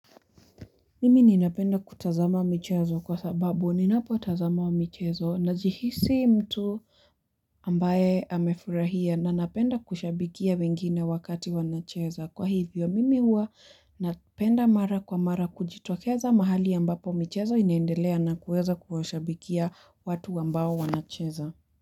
Mimi ninapenda kutazama michezo kwa sababu ninapotazama michezo najihisi mtu ambaye amefurahia na napenda kushabikia wengine wakati wanacheza kwa hivyo mimi huwa napenda mara kwa mara kujitokeza mahali ambapo michezo inaendelea na kuweza kuwashabikia watu ambao wanacheza.